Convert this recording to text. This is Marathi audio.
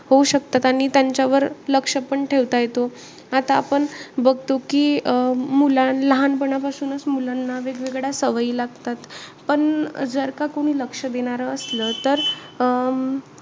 होऊ शकतात. आणि त्यांच्यावर लक्ष पण ठेवता येतो. आता आपण बघतो कि, अं मुला लहानपणापासूनचं मुलांना वेग-वेगळ्या सवयी लागतात. पण जर का कोणी लक्ष देणारं असलं तर,